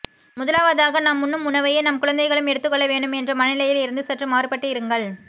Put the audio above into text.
முதலாவதாக நாம் உண்ணும் உணவையே நம் குழந்தைகளும் எடுத்துக்கொள்ள வேண்டும் என்ற மனநிலையில் இருந்து சற்று மாறுபட்டு இருங்கள்